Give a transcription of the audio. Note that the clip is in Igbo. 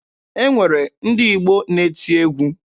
E nwere ndị Igbo na-eti egwu.